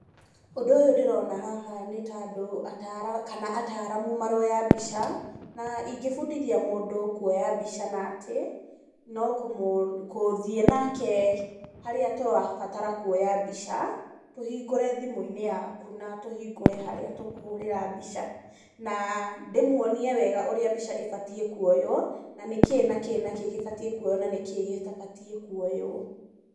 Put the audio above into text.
Ũndũ ũyũ ndĩrona haha nĩ ta andũ kana ataramu maroya mbica na ingĩbundithia andũ kuoya mbica natĩ, no gũthiĩ nake harĩa tũrabara kuoya mbica, tũhingũre thimũ-inĩ yaku na tũhingũre harĩa tũkũhũrĩra mbica na ndĩmuonie wega ũrĩa mbica ĩbatiĩ kuoywo na nĩ kĩĩ na kĩĩ na kĩĩ kĩbatiĩ kuoywo na nĩkĩĩ gĩtabatiĩ kuoywo.